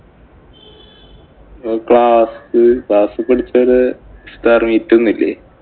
Class class ഇല്‍ പഠിച്ചവര് ഇസ്താര്‍ ഇല്ലേ?